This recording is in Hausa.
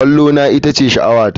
Kwallona ita ce sha'awata.